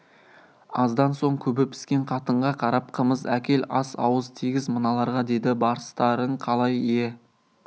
аздан соң күбі піскен қатынға қарап қымыз әкел ас ауыз тигіз мыналарға деді барыстарың қалай ие